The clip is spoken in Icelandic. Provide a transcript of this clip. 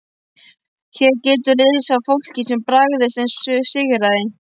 Hér getur að lesa af fólki sem barðist og sigraði.